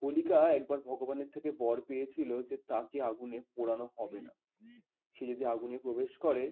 হোলিকা একবার ভগবানের থেকে বর পেয়েছিল যে তাকে আগুনে পোড়ানো হবে না সে যদি আগুনে প্রবেশ করে